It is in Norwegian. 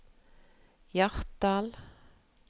Hjartdal